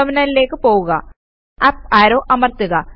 ടെർമിനലിലേയ്ക്ക് പോകുക up arrow അമർത്തുക